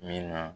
Min na